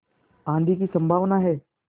आँधी की संभावना है